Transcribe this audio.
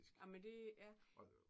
Ej men det ja